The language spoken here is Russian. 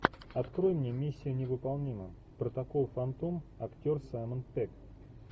открой мне миссия невыполнима протокол фантом актер саймон пегг